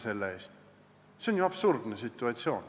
See on ju absurdne situatsioon.